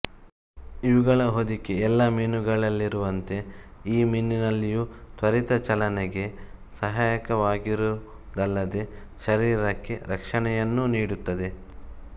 ಇವುಗಳ ಹೊದಿಕೆ ಎಲ್ಲ ಮೀನುಗಳಲ್ಲಿರುವಂತೆ ಈ ಮೀನಿನಲ್ಲಿಯೂ ತ್ವರಿತ ಚಲನೆಗೆ ಸಹಾಯಕವಾಗಿರುವುದಲ್ಲದೆ ಶರೀರಕ್ಕೆ ರಕ್ಷಣೆಯನ್ನೂ ನೀಡುತ್ತದೆ